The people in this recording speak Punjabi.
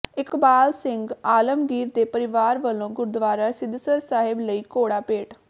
ਇਕਬਾਲ ਸਿੰਘ ਆਲਮਗੀਰ ਦੇ ਪਰਿਵਾਰ ਵੱਲੋਂ ਗੁਰਦੁਆਰਾ ਸਿੱਧਸਰ ਸਾਹਿਬ ਲਈ ਘੋੜਾ ਭੇਟ